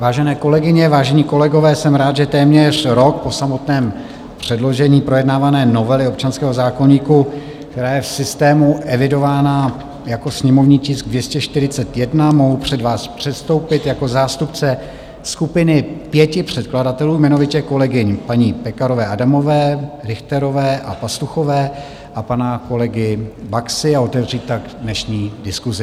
Vážené kolegyně, vážení kolegové, jsem rád, že téměř rok po samotném předložení projednávané novely občanského zákoníku, která je v systému evidována jako sněmovní tisk 241, mohu před vás předstoupit jako zástupce skupiny pěti předkladatelů, jmenovitě kolegyň paní Pekarové Adamové, Richterové a Pastuchové a pana kolegy Baxy, a otevřít tak dnešní diskusi.